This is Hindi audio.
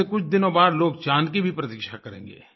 अब से कुछ दिनों बाद लोग चाँद की भी प्रतीक्षा करेंगे